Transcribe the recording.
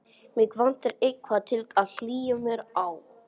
Mig vantar eitthvað til að hlýja mér á.